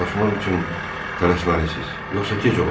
Vidalaşmaq üçün tələsməlisiz, yoxsa gec ola bilər.